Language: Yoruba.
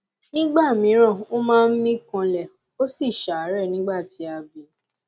nígbà míràn ó máa ń mí kanlẹ ó sì ṣàárẹ nígbà tí a bí i